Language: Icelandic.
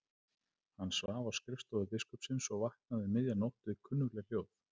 Hann svaf á skrifstofu biskupsins og vaknaði um miðja nótt við kunnugleg hljóð.